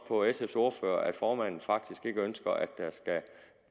på sf’s ordfører at formanden faktisk ikke ønsker at